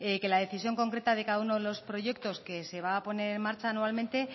que la decisión concreta de cada uno de los proyectos que se van a poner en marcha anualmente